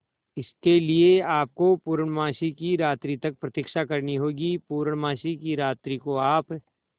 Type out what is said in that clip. इसके लिए आपको पूर्णमासी की रात्रि तक प्रतीक्षा करनी होगी पूर्णमासी की रात्रि को आप